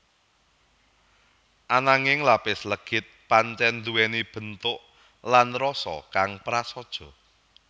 Ananging lapis legit pancèn nduwèni bentuk lan rasa kang prasaja